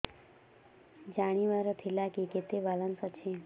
ଜାଣିବାର ଥିଲା କି କେତେ ବାଲାନ୍ସ ଅଛି